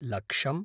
लक्षम्